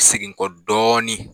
Segin n kɔ dɔɔnin